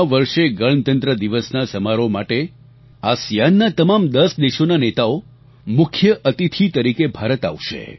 આ વર્ષે ગણતંત્ર દિવસ સમારોહ માટે આસિઆન ના આસિયાન તમામ દસ દેશોના નેતાઓ મુખ્ય અતિથિ તરીકે ભારત આવશે